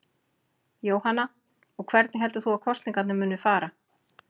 Jóhanna: Og hvernig heldur þú að kosningarnar muni fara?